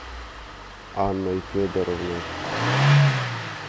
анной федоровной